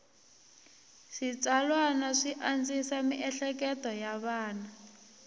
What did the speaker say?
switsalwana swi andzisa mieleketo ya vana